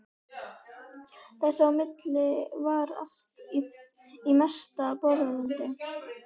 Þess á milli var allt í mesta bróðerni.